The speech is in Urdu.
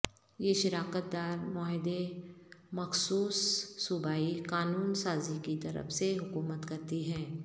یہ شراکت دار معاہدے مخصوص صوبائی قانون سازی کی طرف سے حکومت کرتی ہیں